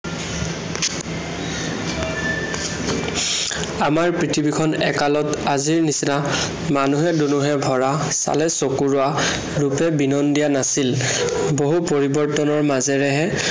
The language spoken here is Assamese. আমাৰ পৃথিৱীখন একালত আজিৰ নিচিনা মানুহে দুনুহে ভৰা, চালে চকু ৰোৱা, ৰূপে বিনন্দীয়া নাছিল। বহু পৰিৱৰ্তনৰ মাজেৰেহে